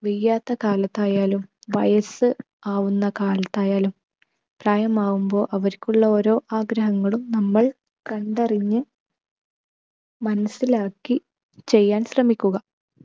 വയ്യാത്ത കാലത്തായാലും, വയസ്സ് ആവുന്ന കാലത്തായാലും പ്രായമാവുമ്പോ അവർക്കുള്ള ഓരോ ആഗ്രഹങ്ങളും നമ്മൾ കണ്ടറിഞ്ഞ് മനസിലാക്കി ചെയ്യാൻ ശ്രമിക്കുക.